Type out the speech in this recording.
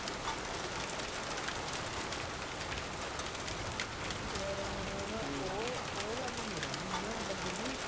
ਯਾਰ ਹੁਣ ਹੈ ਨਾ ਉਹ ਉਹ ਗੱਲ ਨਹੀਂ ਰਹਿ ਗਈ ਹੈ ਨਾ ਬੰਦੇ ਦੀ